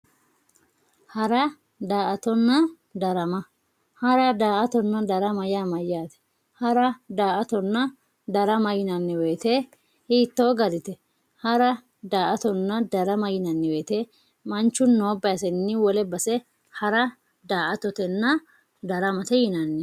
hara, daa"atonna darama hara, daa"atonna darama yaa mayaate hara, daa"atonna darama yinanni woyiite hiitoo garite hara, daa"atonna darama yinanni woyiite manchu noo basenni wole base hara, daa"atonna darama yinanni.